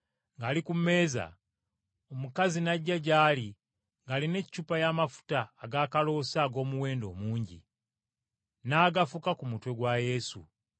ng’ali ku mmeeza, omukazi n’ajja gy’ali ng’alina eccupa y’amafuta ag’akaloosa ag’omuwendo omungi, n’agafuka ku mutwe gwa Yesu.